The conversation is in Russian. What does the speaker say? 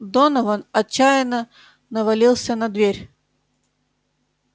донован отчаянно навалился на дверь